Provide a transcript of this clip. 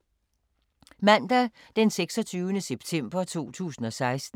Mandag d. 26. september 2016